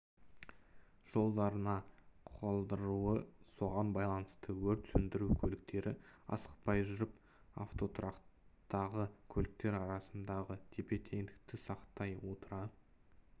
жолдарына қалдыруы соған байланысты өрт сөндіру көліктері асықпай жүріп автотұрақтағы көліктер арасындағы тепе-теңдікті сақтай отыра